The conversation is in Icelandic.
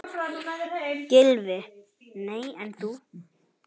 Gylfi: Nei en þú?